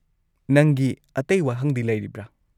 ꯅꯪꯒꯤ ꯑꯇꯩ ꯋꯥꯍꯪꯗꯤ ꯂꯩꯔꯤꯕ꯭ꯔꯥ?